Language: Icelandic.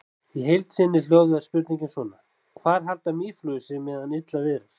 Í heild sinni hljóðaði spurningin svona: Hvar halda mýflugur sig meðan illa viðrar?